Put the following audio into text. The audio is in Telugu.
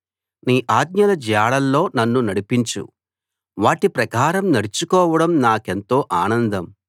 నీ ఆజ్ఞల జాడల్లో నన్ను నడిపించు వాటి ప్రకారం నడుచుకోవడం నాకెంతో ఆనందం